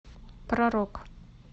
про рок